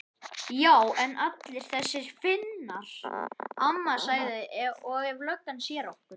Já en allir þessir Finnar. amma sagði. og ef löggan sér okkur.